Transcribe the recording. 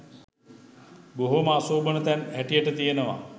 බොහොම අශෝභන තැන් හැටියට තියෙනවා